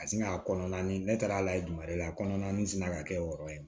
A sina kɔnɔna ni ne taara lajɛ tuma de la a kɔnɔna sina ka kɛ o yɔrɔ ye